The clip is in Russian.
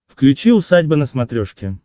включи усадьба на смотрешке